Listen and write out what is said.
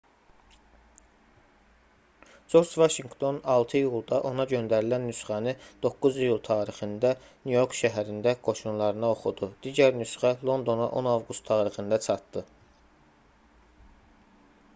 corc vaşinqton 6 iyulda ona göndərilən nüsxəni 9 iyul tarixində nyu-york şəhərində qoşunlarına oxudu digər nüsxə londona 10 avqust tarixində çatdı